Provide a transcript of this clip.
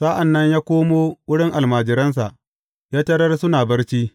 Sa’an nan ya komo wurin almajiransa, ya tarar suna barci.